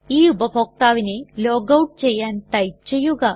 ഈ ഉപഭോക്താവിനെ ലോഗൌട്ട് ചെയ്യാൻ ടൈപ്പ് ചെയ്യുക